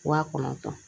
Wa kɔnɔntɔn